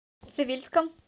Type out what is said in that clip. цивильском